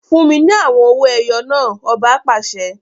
Fún mi ní awọn owó ẹyọ náà! ọba pàṣẹ